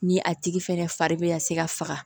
Ni a tigi fɛnɛ fari bɛ ka se ka faga